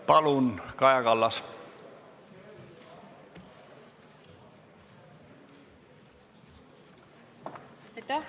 Palun, Kaja Kallas!